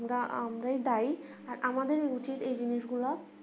কিন্তু আমরাই দায় আর আমাদের উচিত এই জিনিস গুলা